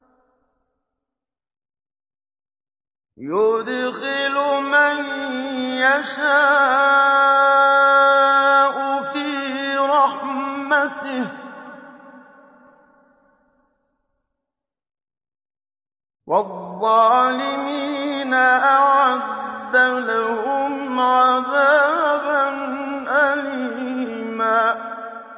يُدْخِلُ مَن يَشَاءُ فِي رَحْمَتِهِ ۚ وَالظَّالِمِينَ أَعَدَّ لَهُمْ عَذَابًا أَلِيمًا